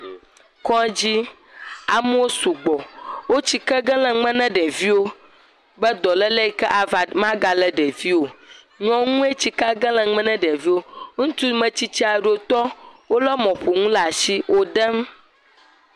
Kɔdzi, amewo sugbɔ. Wo atsike ge le nume na ɖeviwo be dɔléle yi ke ava, magalé ɖeviwo o. Nyɔnue tsikea gem le nume na ɖeviwo. Ŋutsu metsitsi aɖewo tɔ wolé mɔƒonuwo ɖaa shi wo ɖem.